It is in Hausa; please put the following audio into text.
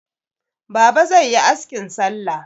Baba zai yi askin salla.